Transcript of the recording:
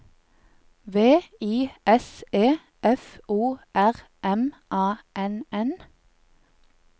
V I S E F O R M A N N